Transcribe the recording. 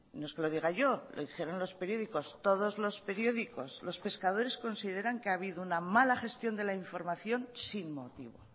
no es que lo diga yo lo dijeron los periódicos todos los periódicos los pescadores consideran que ha habido una mala gestión de la información sin motivo